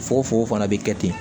Fukofugo fana bɛ kɛ ten